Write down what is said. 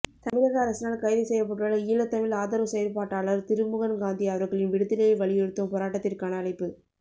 தமிழக அரசினால் கைது செய்யப்பட்டுள்ள ஈழத் தமிழ் ஆதரவு செயற்பாட்டாளர் திருமுருகன்காந்தி அவர்களின் விடுதலையை வலியுறுத்தும் போராட்டத்திற்கான அழைப்பு